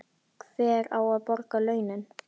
Hver á að borga launin?